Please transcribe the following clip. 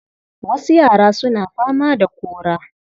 Wasu yara suna fama da kora.